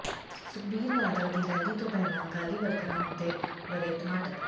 ਸੁਖਬੀਰ ਬਾਦਲ ਦੀ ਰੈਲੀ ਤੋਂ ਪਹਿਲਾਂ ਅਕਾਲੀ ਵਰਕਰਾਂ ਉੱਤੇ ਵਰ੍ਹੇ ਟਮਾਟਰ